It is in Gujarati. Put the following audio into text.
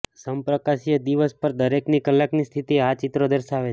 સમપ્રકાશીય દિવસ પર દરેક કલાકની સ્થિતિ આ ચિત્રો દર્શાવે છે